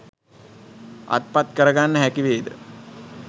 අත්පත් කරගන්න හැකිවේද?